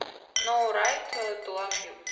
ноу райт ту лав ю